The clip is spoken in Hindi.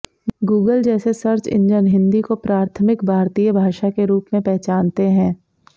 गूगल जैसे सर्च इंजन हिन्दी को प्राथमिक भारतीय भाषा के रूप में पहचानते हैं